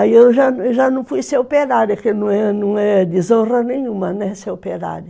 Aí eu já já, fui ser operária, que não é desonra nenhuma, né, ser operária.